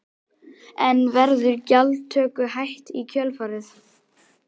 En verður gjaldtöku hætt í kjölfarið?